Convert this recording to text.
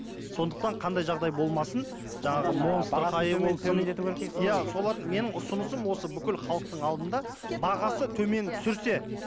сондықтан қандай жағдай болмасын жаңағы монстр бағасын төмендету керек дейсің ғой енді иә соларды менің ұсынысым осы бүкіл халықтың алдында бағасы төмен түсірсе